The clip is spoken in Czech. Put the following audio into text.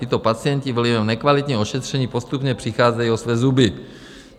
Tito pacienti vlivem nekvalitního ošetření postupně přicházejí o své zuby.